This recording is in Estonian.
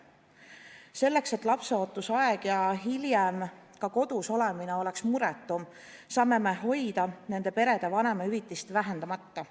Selleks, et lapseootusaeg ja hiljem ka kodus olemine oleks muretum, saame hoida nende perede vanemahüvitist vähendamata.